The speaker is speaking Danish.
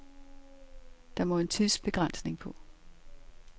Der må en tidsbegrænsning på.